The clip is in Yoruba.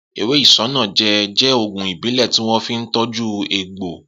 Ewé isanaje jẹ́ ògùn ìbílẹ̀ tí wọ́n fi ń tọju egbò